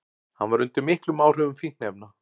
Hann var undir miklum áhrifum fíkniefna